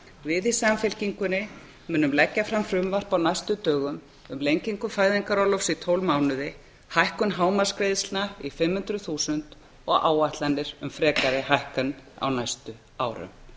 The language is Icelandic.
við í samfylkingunni munum leggja fram frumvarp á næstu dögum um lengingu fæðingarorlofs í tólf mánuði hækkun hámarksgreiðslna í fimm hundruð þúsund og áætlanir um frekari hækkun á næstu árum